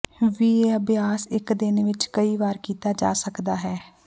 ਵੀ ਇਹ ਅਭਿਆਸ ਇੱਕ ਦਿਨ ਵਿੱਚ ਕਈ ਵਾਰ ਵਿੱਚ ਕੀਤਾ ਜਾ ਸਕਦਾ ਹੈ